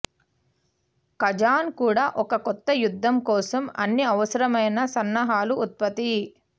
Kazan కూడా ఒక కొత్త యుద్ధం కోసం అన్ని అవసరమైన సన్నాహాలు ఉత్పత్తి